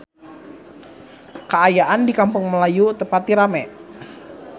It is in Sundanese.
Kaayaan di Kampung Melayu teu pati rame